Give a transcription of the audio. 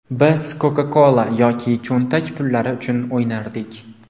Biz Coca-Cola yoki cho‘ntak pullari uchun o‘ynardik.